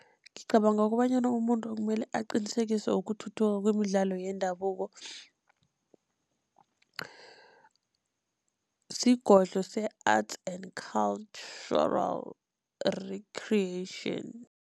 Ngicabanga kobanyana umuntu okumele aqinisekise ukuthuthuka kwemidlalo yendabuko, sigodlo se-arts and cultural recreation.